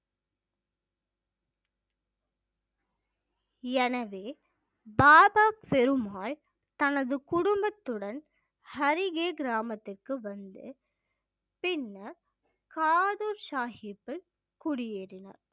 எனவே பாபா பெருமால் தனது குடும்பத்துடன் ஹரிகே கிராமத்திற்கு வந்து பின்னர் காது சாஹிப்பில் குடியேறினார்